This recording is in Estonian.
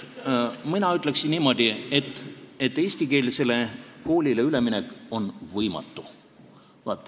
Mina ütleksin niimoodi, et eestikeelsele koolile üleminek on võimatu.